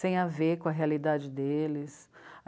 sem a ver com a realidade deles.